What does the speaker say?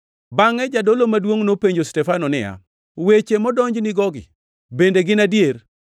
Bangʼe jadolo maduongʼ nopenjo Stefano niya, “Weche modonjnigogi bende gin adier?”